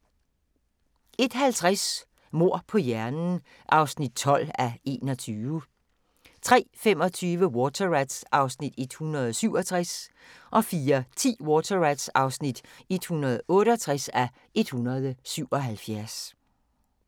01:50: Mord på hjernen (12:21) 03:25: Water Rats (167:177) 04:10: Water Rats (168:177)